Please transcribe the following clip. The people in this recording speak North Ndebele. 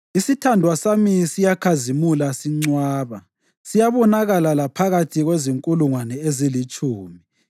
Isithandwa sami siyakhazimula sincwaba, siyabonakala laphakathi kwezinkulungwane ezilitshumi.